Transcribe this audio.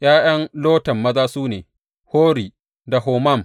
’Ya’yan Lotan maza su ne, Hori da Homam.